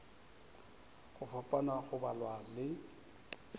go fapana go balwa le